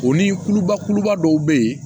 O ni kuluba kuluba dɔw be yen